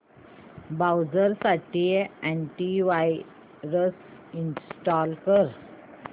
browser साठी antivirus install कर